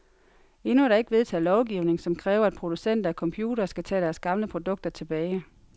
Endnu er der ikke vedtaget lovgivning, som kræver, at producenter af computere skal tage deres gamle produkter tilbage.